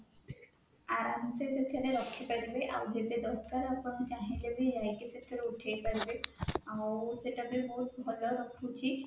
ଆରାମ ସେ ସେଥିରେ ରଖିପାରିବେ ଆଉ ଯେତେ ଦରକାର ଆପଣ ଚାହିଁଲେ ବି ଯାଇକି ସେଇଠୁ ଉଠେଇ ପାରିବେ ଆଉ ସେଇଟା ବି ବହୁତ ଭଲ ରଖୁଛି